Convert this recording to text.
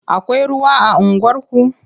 Akwai ruwa a unguwarku?